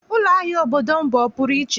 Ụlọahịa obodo m bụ ọpụrụ iche